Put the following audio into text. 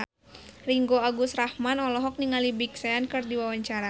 Ringgo Agus Rahman olohok ningali Big Sean keur diwawancara